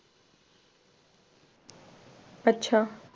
अच्छा.